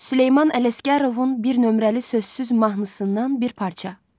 Süleyman Ələsgərovun bir nömrəli sözsüz mahnısından bir parça.